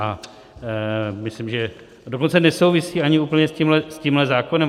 A myslím, že dokonce nesouvisí ani úplně s tímhle zákonem.